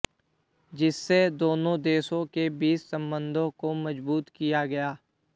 जिससे दोनों देशों के बीच संबंधों को मज़बूत किया गया